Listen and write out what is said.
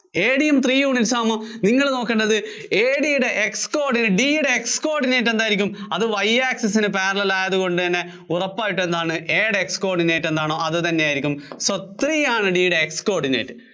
AD യും three units ആകുമ്പോ നിങ്ങള്‍ നോക്കേണ്ടത് AD യുടെ X coordinates, D യുടെ X coordinate എന്തായിരിക്കും? അത് Y access നു parallel ആയതുകൊണ്ട് തന്നെ ഉറപ്പായിട്ടും എന്താണ്, A യുടെ X coordinate എന്താണോ അതുതന്നെയായിരിക്കും. so three ആണ് A യുടെ X coordinate